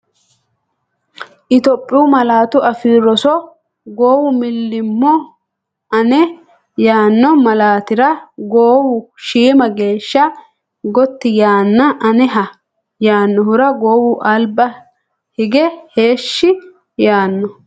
Itophiyu Malaatu Afii Roso Goowu millimmo Ane yaanno malaatira goowu shiima geeshsha gotti yaanna Aneha yaannohura goowu alba hige heeshshi yaanno.